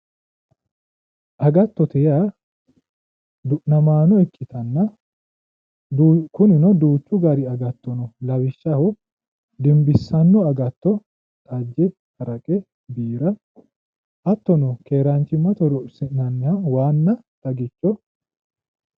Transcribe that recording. Agattote yaa du'namaano ikkitanna kunino duuchu dani agatto no lawishaho dimbissanno agatto xajje haraqe biira hattono keeraanchimmate horonsi'nanniha waanna xagicho.